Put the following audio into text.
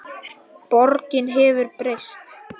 Borgin hefur breyst.